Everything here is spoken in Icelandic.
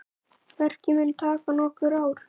Verkið mun taka nokkur ár.